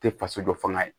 Tɛ faso dɔ fanga ye